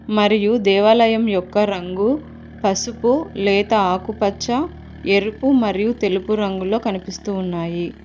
మరియు దేవాలయం యొక్క రంగు పసుపు లేత ఆకుపచ్చ ఎరుపు మరియు తెలుపు రంగులో కనిపిస్తూ ఉన్నాయి.